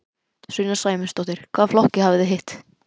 Sunna Sæmundsdóttir: Hvaða flokka hafið þið hitt?